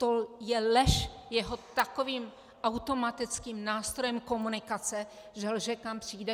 To je lež jeho takovým automatickým nástrojem komunikace, že lže, kam přijde?